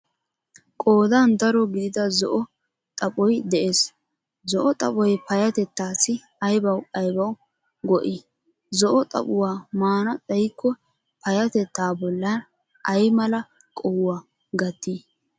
Qoodan daro gidida zo"o xaphphoy de'ees. Zo"o xaphphoy payyattetassi aybawu aybawu go"i zo"o xaphphuwaa maana xayikko paayatetaa bollan ay mala qohuwaa gattii?